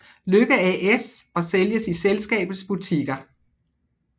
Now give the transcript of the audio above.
Lykke AS og sælges i selskabets butikker